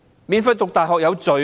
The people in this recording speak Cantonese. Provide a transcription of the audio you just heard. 免費讀大學是罪嗎？